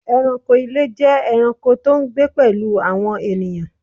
Ẹranko ile jẹ ẹranko to n gbe pelu awọn ènìyàn